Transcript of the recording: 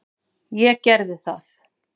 Ég gerði það.